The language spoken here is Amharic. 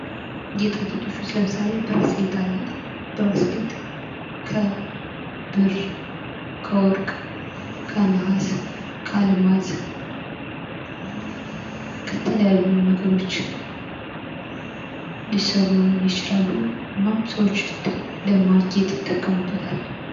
ጌጣጌጦች ውስጥ ለምሳሌ ብራስሌት አለ። ብራስሌት ከብር፣ ከወርቅ ፣ ከ ነሐስ ፣ከአልማዝ ከተለያዩ ነገሮች ሊሰሩ ይችላሉ ፤ እናም ሰዎች ለማጌጥ ይጠቀሙበታል።